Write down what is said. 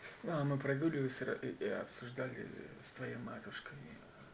а мы прогуливались и обсуждали с твоей матушкой